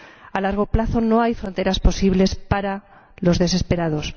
A largo plazo no hay fronteras posibles para los desesperados.